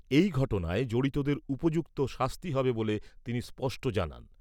এই ঘটনায় জড়িতদের উপযুক্ত শাস্তি হবে বলে তিনি স্পষ্ট জানান।